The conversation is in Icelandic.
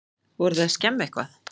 Voruð þið að skemma eitthvað?